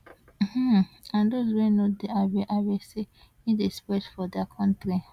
um and those wey no dey aware aware say e dey spread for dia kontri